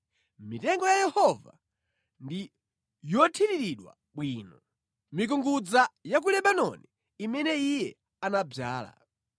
Mitengo ya Yehova ndi yothiriridwa bwino, mikungudza ya ku Lebanoni imene Iye anadzala.